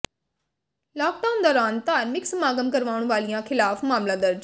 lockdown ਦੌਰਾਨ ਧਾਰਮਿਕ ਸਮਾਗਮ ਕਰਵਾਉਣ ਵਾਲਿਆਂ ਖ਼ਿਲਾਫ਼ ਮਾਮਲਾ ਦਰਜ